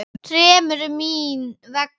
Þremur. mín vegna.